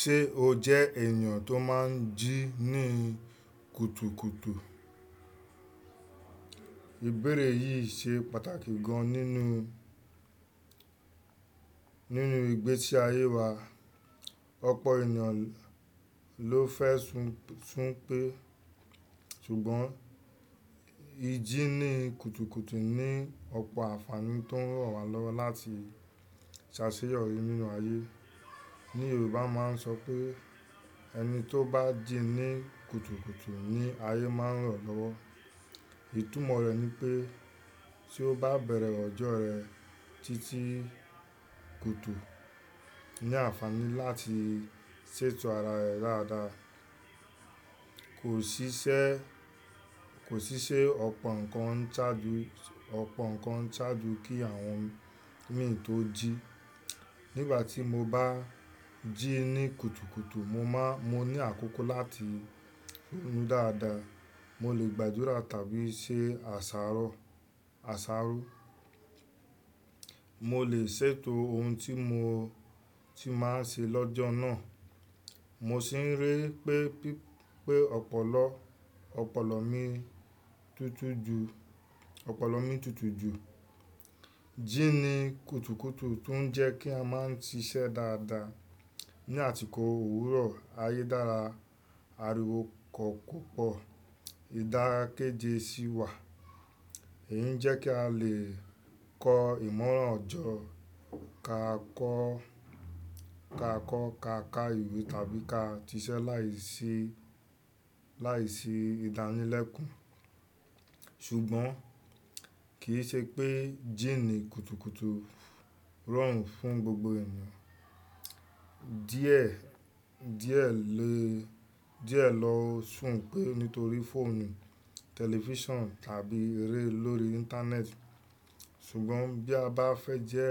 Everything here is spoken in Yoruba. Ṣé o jẹ́ ènìyàn tó máa ń jí ní kùtùkùtù? Ìbéèrè yìí ṣe pàtàkì gan nínú, nínú ìgbésí ayé wa. Ọ̀pọ̀ ènìyàn ló fẹ́ sún, sún pé ṣùgbọ́n ìjí ní kùtùkùtù ní ọ̀pọ̀ ànfàní tó ń ràn wá lọ́wọ́ láti ṣàṣeyọrí nínú ayé. Ni Yorùbá máa ń sọ pé ẹni tó bá jí ní kùtùkùtù ní ayé máa ń ran lọ́wọ́. Itùnmo rẹ̀ ni pé tí o bá bẹ̀rẹ̀ ọjọ́ rẹ títí kùtù ní ànfàní láti ṣètò ara rẹ dáadáa. Kò ṣiṣẹ́, kò ṣiṣẹ́ ọ̀pọ̀ nǹkan ń ṣáájú, ọ̀pọ̀ nǹkan ń ṣáájú kí àwọn mí tó jí. Nígbà tí mo bá jí ní kùtùkùtù mo máa, mo ní àkókò láti ronú dáadáa, mo lè gbàdúrà tàbí ṣe àsárọ́, àsáró. Mo lè ṣètò ohun tí mo ti máa ń ṣe lọ́jọ́ náà. Mo sì ń rí pé, pé ọ̀pọ̀lọ́, ọ̀pọ̀lọ́ mi tutù ju, ọ̀pọ̀lọ́ mi tutù ju. Jí ní kùtùkùtù tún jẹ́ kí a máa ń ṣiṣẹ́ dáadáa. Ni àtíkọ̀ òwúrọ̀, ayédára, ariwo kọ̀po pupo, ìdákẹ́jẹ́ sì wà. Èyí ń jẹ́ kí a lè kọ ìmọ̀ràn ọjọ́, ká kọ́, ká kọ́ ká ka ìwé tàbí ká ṣiṣẹ́ láìsí, láìsí ìdánilẹ́kùn. Ṣùgbọ́n kì í ṣe pé jí ní kùtùkùtù rọrùn fún gbogbo ènìyàn. Díẹ̀, díẹ̀ lè, díẹ̀ lọ sùn pé nítorí fóònù, tẹlifíṣàn tàbí eré lórí Íńtánẹ́ẹ̀tì. Ṣùgbọ́n bí a bá fẹ́ jẹ́